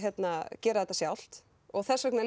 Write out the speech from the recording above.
gera þetta sjálft þessvegna